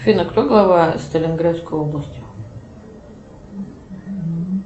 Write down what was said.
афина кто глава сталинградской области